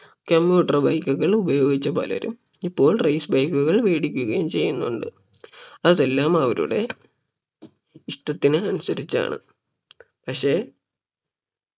commuter bike കൾ ഉപയോഗിച്ച പലരും ഇപ്പോൾ race bike കൾ വേടിക്കുകയും ചെയ്യുന്നുണ്ട് അതെല്ലാം അവരുടെ ഇഷ്ടത്തിന് അനുസരിച്ചാണ് പക്ഷെ